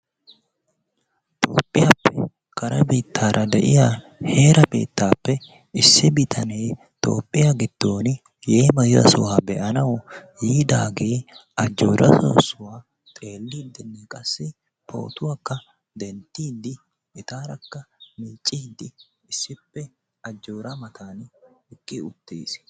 Toophphiyaappe kare biittaraa deiya heeraa biittappe issi bitane toophphiyaa giddon yeemiyaa sohuwaa beanawu yiidage ajora soosuwaa xeelidine qassi pootuwaaka denttidi etarakka miccidi issippe ajoora matan bi uttiis.